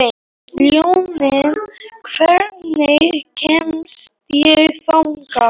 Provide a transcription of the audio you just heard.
Ljóney, hvernig kemst ég þangað?